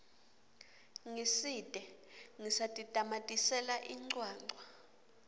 ngitsite ngisatitamatisela incwancwa